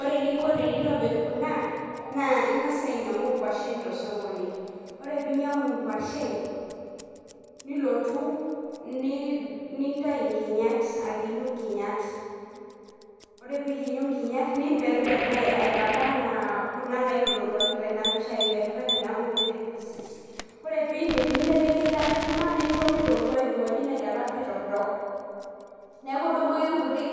Ore eningo pintobirr kuna naa ingas naa ainyiangu inkwashen tosokoni, ore pinyiang'u inkwashen, nilotu, nintayu inkinyat, akinyu nkinyat. Ore pintayu nkinyat , niperper naa aitaba anaa kuna naitoduaki tena pisha, aiperper aitaa nkutitik pieces. Ore piindip, ninteleki eilata enkima, nincho mitootua pi airowuaji ina ilata pi aitoktok, niaku idumu ake nkutik